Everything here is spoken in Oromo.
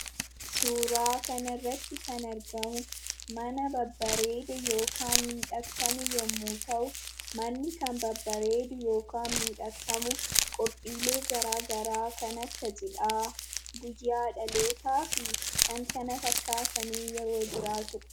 Suuraa kanarratti kan argamu mana babbareedaa yookiin miidhagfame yommuu ta'u, manni kan babbareedu yookaan kan miidhagfamu qophiilee garagaraa kan akka cidhaa, guyyaa dhalootaafi kan kana fakkaatan yeroo jiraatudha.